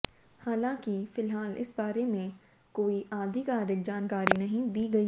हालांकि फिलहाल इस बारे में कोई आधिकारिक जानकारी नहीं दी गई है